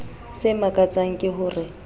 se makatsang ke ho re